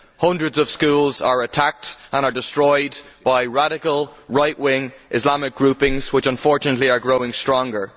Hundreds of schools are attacked and destroyed by radical, right wing Islamic groupings, which unfortunately are growing stronger.